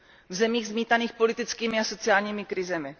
v zemích zmítaných politickými a sociálními krizemi.